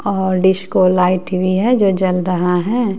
और disco light भी है जो जल रहा है।